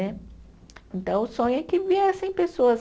Então, o sonho é que viessem pessoas